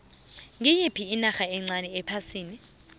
ngiyiphi inarha encani ephasini